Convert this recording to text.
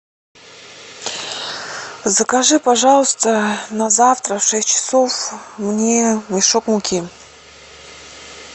закажи пожалуйста на завтра в шесть часов мне мешок муки